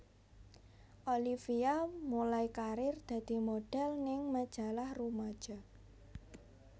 Olivia mulai karir dadi modhel ning majalah rumaja